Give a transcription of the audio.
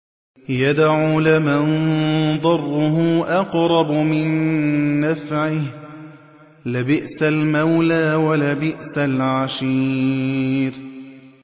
يَدْعُو لَمَن ضَرُّهُ أَقْرَبُ مِن نَّفْعِهِ ۚ لَبِئْسَ الْمَوْلَىٰ وَلَبِئْسَ الْعَشِيرُ